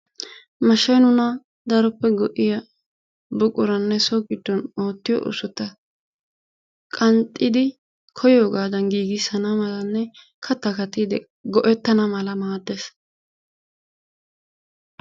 Mashshay nuna daroppe go'iyaa buquranne so giddon oottiyo oosota qanxxidi nu kooyyogadan giigissana malanne kattaa kaattidi nu kooyyogadan go'ettana mala maaddees.